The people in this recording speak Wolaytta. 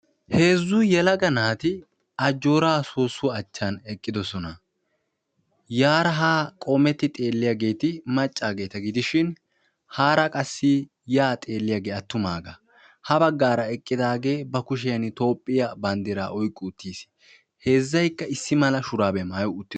Heezzu yelaga naati ajjoora sossuwa achchan eqqidoosona. Yaara ha qoometti xeeliyaageeti maccageeta gidishin, haara qassi ya xeelliyaage attumaaga. Ha baggaara eqqidaage ba kushiyaan Toophiya banddira oyqqi uttiis. Heezzaykka issi mala shurabiya maatti ....